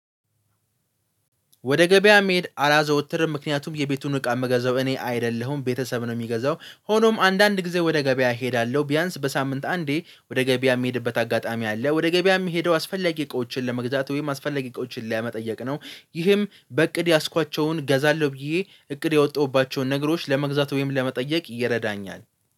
ወደ ገበያ መሄድ አላዘወትርም ምክንያቱም የቤቱን እቃ የምገዛው እኔ አይደለሁም ቤተሰብ ነው የሚገዛው። ሆኖም አንዳንድ ጊዜ ወደ ገበያ እሄዳለሁ። ቢያንስ በሳምንት አንዴ ወደ ገበያ የሚሄድበት አጋጣሚ አለ። ወደ ገበያ የሚሄደው አስፈለጌ እቃዎችን ለመግዛት ወይም አስፈላጊ እቃዎችን ለመጠየቅ ነው። ይህም በእቅድ ያዝኳቸውን ገዛለሁ ብዬ እቅድ ያወጣሁባቸውን ነገሮች ለመግዛት ወይም ለመጠየቅ ይረዳኛል